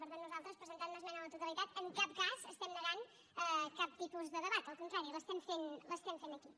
per tant nosaltres presentant una esmena a la totalitat en cap cas estem negant cap tipus de debat al contrari l’estem fent aquí